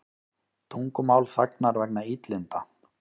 Tungumál þagnar vegna illinda